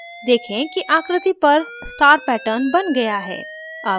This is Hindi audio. देखें कि आकृति पर star pattern बन गया है